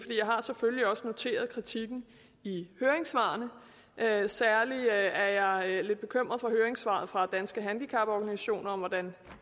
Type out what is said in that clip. jeg har selvfølgelig også noteret mig kritikken i høringssvarene særlig er jeg lidt bekymret over høringssvaret fra danske handicaporganisationer om hvordan